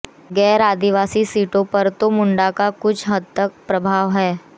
गैर आदिवासी सीटों पर तो मुंडा का कुछ हद तक प्रभाव है ही